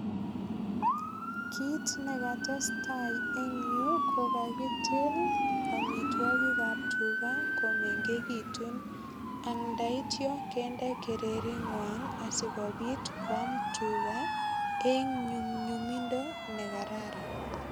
Kit ne katestai eng yu ko kakitil amitwogik ab tuga komengegitun ak ndaityo kende kerengwai asigopit kwam tuga en nyumnyumindo nekararan.